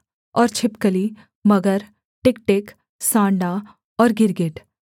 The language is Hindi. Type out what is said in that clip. और छिपकली मगर टिकटिक सांडा और गिरगिट